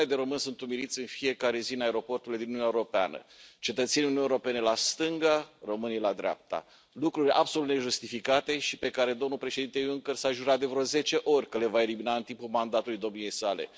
Milioane de români sunt umiliți în fiecare zi în aeroporturile din Uniunea Europeană, cetățenii Uniunii Europene la stânga, românii la dreapta, lucruri absolut nejustificate și pe care domnul Președinte Juncker s a jurat de vreo zece ori că le va elimina în timpul mandatului domniei sale.